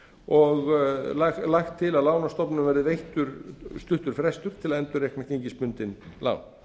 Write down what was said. og lagt til að lánastofnunum verði veittur stuttur frestur til að endurreikna gengisbundin lán